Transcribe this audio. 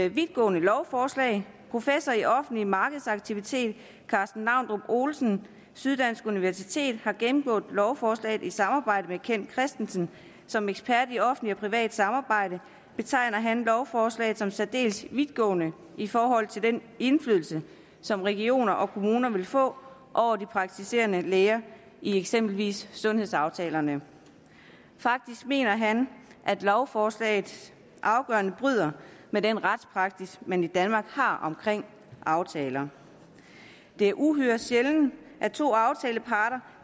et vidtgående lovforslag professor i offentlig markedsaktivitet karsten naundrup olesen syddansk universitet har gennemgået lovforslaget i samarbejde med kent kristensen som ekspert i offentligt og privat samarbejde betegner han lovforslaget som særdeles vidtgående i forhold til den indflydelse som regioner og kommuner vil få over de praktiserende læger i eksempelvis sundhedsaftalerne faktisk mener han at lovforslaget afgørende bryder med den retspraksis man i danmark har omkring aftaler det er uhyre sjældent at to aftaleparter